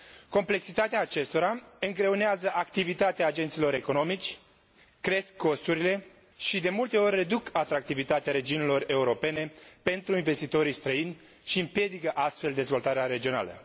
Complexitatea acestora îngreunează activitatea agenților economici, cresc costurile și de multe ori reduc atractivitatea regimurilor europene pentru investitorii străini și împiedică astfel dezvoltarea regională.